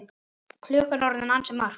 Klukkan er orðin ansi margt.